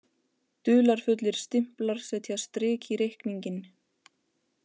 Dularfullir stimplar setja strik í reikninginn